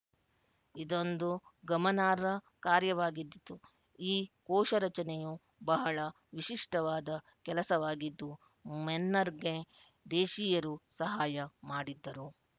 ಇದೊಂದು ಗಮನಾರ್ಹ ಕಾರ್ಯವಾಗಿದ್ದಿತು ಈ ಕೋಶ ರಚನೆಯು ಬಹಳ ವಿಶಿಷ್ಟವಾದ ಕೆಲಸವಾಗಿದ್ದು ಮೆನ್ನರ್‍ಗೆ ದೇಶೀಯರು ಸಹಾಯ ಮಾಡಿದ್ದರು